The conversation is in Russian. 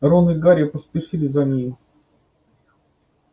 рон и гарри поспешили за ней